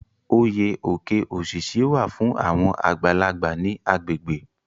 Oyè Oke osisi wà fún àwọn àgbàlagbà ní agbègbè.